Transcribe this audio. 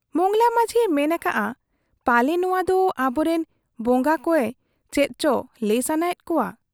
ᱢᱚᱸᱜᱽᱞᱟ ᱢᱟᱹᱡᱷᱤᱭᱮ ᱢᱮᱱ ᱟᱠᱟᱜ ᱟ , ᱯᱟᱞᱮ ᱱᱚᱣᱟ ᱫᱚ ᱟᱵᱚᱨᱤᱱ ᱵᱚᱝᱜᱟ ᱠᱚᱭᱮ ᱪᱮᱫ ᱪᱚ ᱞᱟᱹᱭ ᱥᱟᱱᱟᱭᱮᱫ ᱠᱚᱣᱟ ᱾